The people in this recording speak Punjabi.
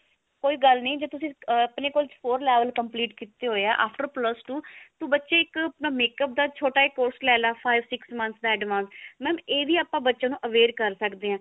ਕੋਈ ਗੱਲ ਨੀ ਜੇ ਤੁਸੀਂ ਆਪਣੇ ਕੋਲ score level complete ਕਿਤੇ ਹੋਏ ਆ after plus two ਬੱਚੇ ਇਕ ਆਪਣਾ makeup ਦਾ ਛੋਟਾ ਜਾ course ਲੈ ਲਾ five six month ਦਾ advance mam ਇਹ ਵੀ ਆਪਾਂ ਬੱਚੇ ਨੂੰ aware ਕਰ ਸਕਦੇ ਹਾਂ